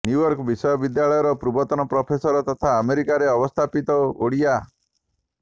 New York ବିଶ୍ୱବିଦ୍ୟାଳୟର ପୂର୍ବତନ professor ତଥା ଆମେରିକାରେ ଅବସ୍ଥାପିତ ଓଡ଼ିଆ ଡ